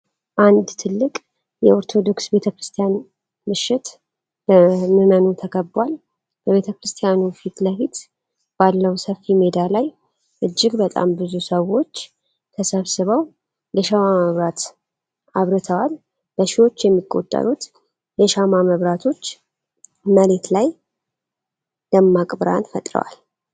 አንድ ትልቅ የኦርቶዶክስ ቤተክርስቲያን ምሽት በምመኑ ተከቧል ። በቤተክርስቲያኑ ፊት ለፊት ባለው ሰፊ ሜዳ ላይ እጅግ በጣም ብዙ ሰዎች ተሰብስበው የሻማ መብራት አብርተዋል። በሺዎች የሚቆጠሩት የሻማ መብራቶች መሬት ላይ ደማቅ ብርሃን ፈጥረዋል፡፡